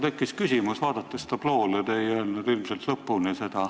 Mul tekkis küsimus, vaadates tabloole.